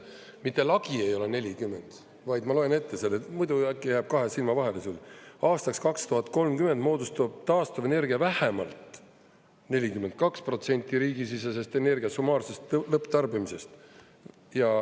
Mitte lagi ei ole 40%, vaid ma loen ette selle, muidu äkki jääb kahe silma vahele sul: aastaks 2030 moodustab taastuvenergia vähemalt 42% riigisisesest energia summaarsest lõpptarbimisest.